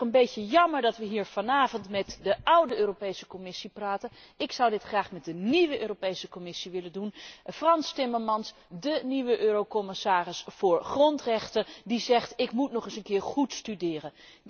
Het is ook een beetje jammer dat we hier vanavond met de oude Europese Commissie praten. Ik zou dit graag met de nieuwe Europese Commissie willen bespreken, met Frans Timmermans, dé nieuwe eurocommissaris voor grondrechten die zegt ik moet nog eens goed studeren.